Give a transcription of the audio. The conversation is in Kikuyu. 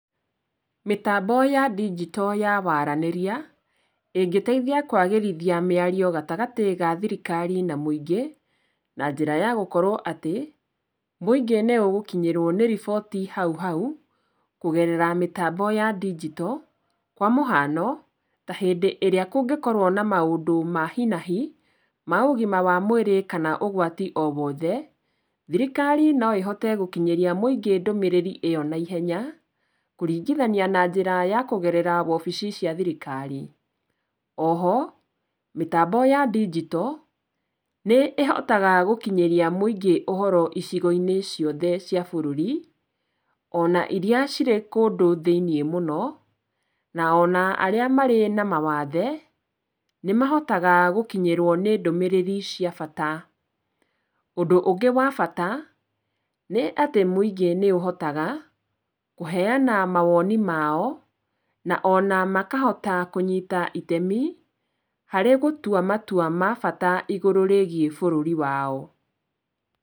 Mĩtambo ya ndigito ya waranĩria ĩngĩteithia kwagĩrithia mĩario gatagatĩ ga thirikari na mũingĩ na njĩra ya gũkorwo atĩ mũingĩ nĩũgũkinyĩrwo nĩ riboti hauhau kũgerera mĩtambo ya ndigito, kwa mũhano ta hĩndĩ ĩrĩa kũngĩkorwo na maũndũ ma hi na hi ma ũgima wa mwĩrĩ kana ũgwati owothe, thirikari no ĩhote gũkinyĩria mũingĩ ndũmĩrĩri ĩyo na ihenya kũringithania na njĩra ya kũgerera wobici cia thirikari. Oho mĩtambo ya ndigito nĩ ĩhotaga gũkinyĩria mũingĩ ũhoro icigo-inĩ ciothe cia bũrũri ona iria cirĩ kũndũ thĩiniĩ mũno na ona arĩa marĩ na mawathe nĩmahotaga gũkinyĩrwo nĩ ndũmĩrĩri cia bata. Ũndũ ũngĩ wa bata nĩ atĩ mũingĩ nĩ ũhotaga kũheana mawoni maao, na ona makahota kũnyita itemi harĩ gũtua matua ma bata igũrũ rĩigiĩ bũrũri wao.